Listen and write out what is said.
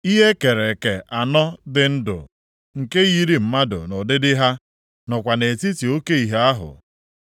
Ihe e kere eke anọ dị ndụ, nke yiri mmadụ nʼụdịdị ha, nọkwa nʼetiti oke ihe ahụ.